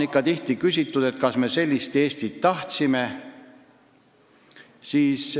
Tihti on küsitud, kas me sellist Eestit tahtsimegi.